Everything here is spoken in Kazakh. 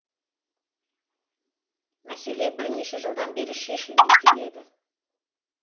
мәселе бірнеше жылдан бері шешілмей келеді